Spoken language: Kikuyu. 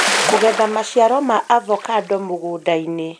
Kũgetha maciaro ma avocado mũgũnda-inĩ